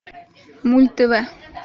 мульт тв